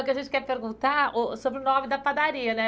O que a gente quer perguntar, ô sobre o nome da padaria, né?